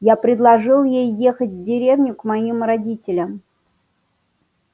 я предложил ей ехать в деревню к моим родителям